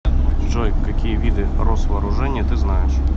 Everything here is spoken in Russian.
джой какие виды росвооружение ты знаешь